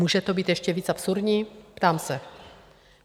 Může to být ještě víc absurdní, ptám se?